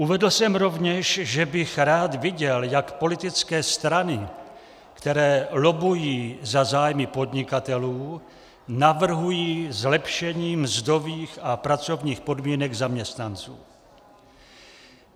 Uvedl jsem rovněž, že bych rád viděl, jak politické strany, které lobbují za zájmy podnikatelů, navrhují zlepšení mzdových a pracovních podmínek zaměstnanců.